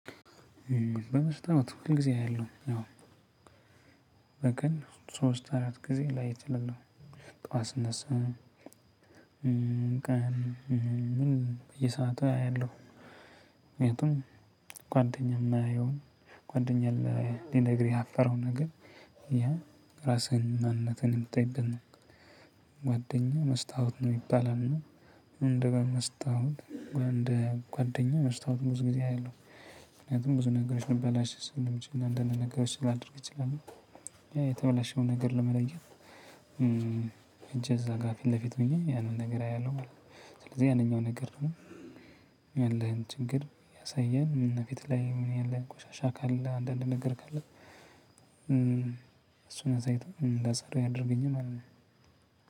በመስጠት ሁለት ጊዜ ያለው በቀን ሶስት አራት ጊዜ ላይ እችላለሁ። ጠዋት ስነሳ ቀን ምን በየሰአቱ አያለሁ። ምክንያቱም ጓደኛ የማያየውን ጓደኛ ሊነግርህ ያፈረውን ነገር ያ ራስህንና እምነትህን የምታይበት ነው። ጓደኛ መስታወት ነው ይባላል። እና እንደ በመስታወት እንደ ጓደኛ መስታወት ብዙ ጊዜ አያለሁ። ምክንያቱም ብዙ ነገሮች ልበላሽ ስለምችል አንዳንድ ነገሮች ላደርግ ይችላል። የተበላሸውን ነገር ለመለየት። ሄጀ እዛ ጋር ፊት ለፊት ሆኔ ያንን ነገር አያለሁ ማለት ነው። ስለዚህ ያንኛው ነገር ነው ያለህን ችግር ያሳያል። ፊትህ ላይ ምን ያለን ቆሻሻ ካለ አንዳንድ ነገር ካለ። እሱ እዛ አይቶ እንዳፀዳ ያደርገኛል ማለት ነው።